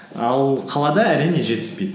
ал қалада әрине жетіспейді